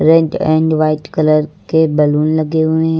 Red and white colour के balloon लगे हुए हैं।